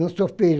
Não sou filho.